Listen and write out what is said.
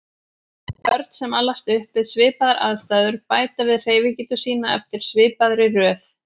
Börn sem alast upp við svipaðar aðstæður bæta við hreyfigetu sína eftir svipaðri röð.